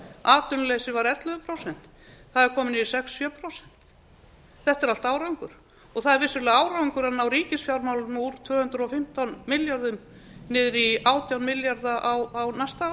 atvinnuleysi var ellefu prósent það er komið niður í sex til sjö prósent þetta er allt árangur og það er vissulega árangur að ná ríkisfjármálunum úr tvö hundruð og fimmtán milljörðum niður í átján milljarða á næsta ári það